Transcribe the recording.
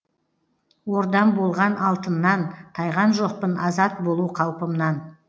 ордам болған алтыннан тайған жоқпын азат болу қалпымнан